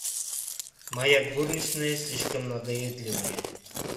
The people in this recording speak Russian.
моя горничная слишком надоедливая